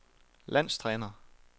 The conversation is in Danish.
landstræner